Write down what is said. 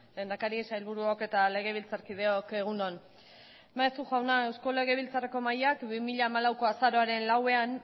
lehendakari sailburuok eta legebiltzarkideok egun on maeztu jauna eusko legebiltzarreko mahaiak bi mila hamalauko azaroaren lauan